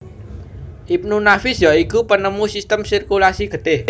Ibnu Nafis ya iku penemu sistem sirkulasi getih